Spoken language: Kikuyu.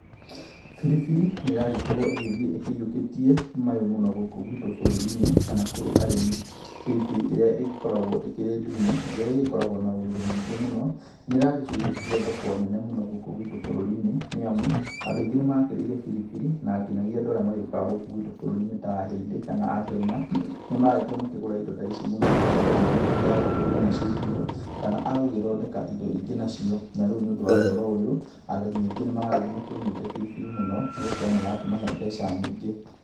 Biribiri nĩ ĩragĩkorwo ĩgĩthiĩ ĩkĩyũkĩtie mayũ mũno gũkũ gwitũ bũrũri-inĩ, kana kũrĩ arĩmi. Biribiri ĩrĩa igĩkoragwo ĩkĩrĩ ndune, ĩrĩa ĩgĩkoragwo na ũrũrũ mũingĩ mũno, nĩ ĩrayũkia thoko nene mũno gũkũ gwitũ bũrũri-inĩ, nĩ amu andũ aingĩ nĩ makĩrĩrire biribiri na andũ arĩa magĩũkaga gũkũ gwitũ bũrũri-inĩ ta Ahĩndĩ, kana Acaina nĩmaragĩkorwo ma kĩgũra indo ta ici mũno, nĩgetha magĩtuĩke a kũruga na cio irio kana a gũgĩthondeka indo ingĩ nacio. Na rĩu nĩ ũndũ wa ũhoro ũyũ, arĩmi aingĩ nĩmaragĩthiĩ marĩmĩte biribiri mũno nĩgũkorwo nĩ ĩra mahe mbeca nyingĩ.